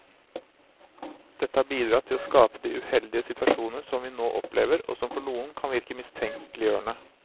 Dette har bidratt til å skape de uheldige situasjoner som vi nå opplever, og som for noen kan virke mistenkeliggjørende.